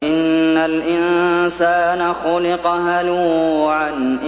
۞ إِنَّ الْإِنسَانَ خُلِقَ هَلُوعًا